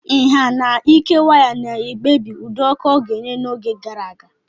Nha and ike waya na-ekpebi ụdị ọkụ ọ ga-enye n'oge gara aga.